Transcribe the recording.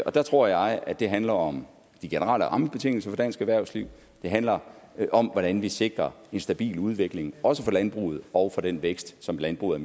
der tror jeg at det handler om de generelle rammebetingelser for dansk erhvervsliv det handler om hvordan vi sikrer en stabil udvikling også for landbruget og for den vækst som landbruget